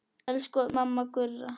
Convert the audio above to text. Elsku mamma Gurra.